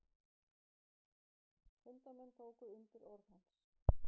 Fundarmenn tóku undir orð hans.